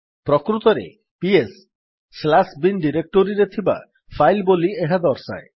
ପ୍ରକୃତରେ ps bin ଡିରେକ୍ଟୋରୀରେ ଥିବା ଫାଇଲ୍ ବୋଲି ଏହା ଦର୍ଶାଏ